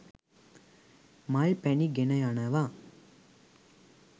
මල් පැණි ගෙන යනවා.